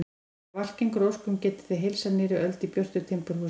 Ef allt gengur að óskum getið þið heilsað nýrri öld í björtu timburhúsi.